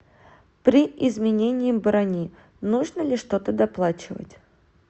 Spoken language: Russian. при изменении брони нужно ли что то доплачивать